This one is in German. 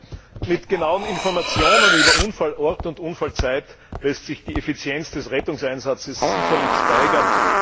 Herr Präsident! Mit genauen Informationen über Unfallort und Unfallzeit lässt sich die Effizienz des Rettungseinsatzes sicherlich steigern.